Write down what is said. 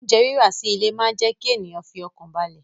Oúnjẹ rírà sí ilé máa jẹ kí ènìyàn fi ọkàn balẹ̀